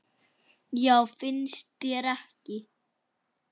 Já, finnst þér ekki?